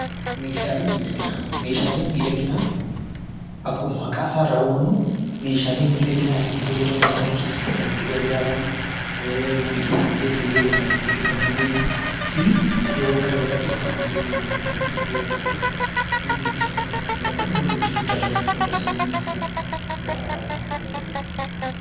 Meeshaaleen miidhaginaa akkuma maqaa isaa irraa hubannu meeshaalee miidhaginaaf itti fayyadamnu mana keessatti itti gargaaramnu fi iddoowwan garagaraatti uffannaa illee ta'uu danda'an itti fayyadamnu jechuudha.